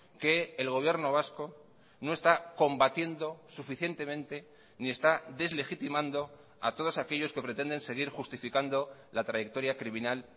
que el gobierno vasco no está combatiendo suficientemente ni está deslegitimando a todos aquellos que pretenden seguir justificando la trayectoria criminal